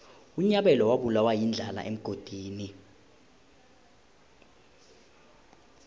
unyabela wabulawa yindlala emgodini